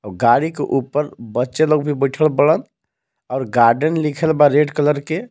और गाड़ी के ऊपर बच्चे लोग भी बइठल बाड़न और गार्डन लिखल बा रेड कलर के.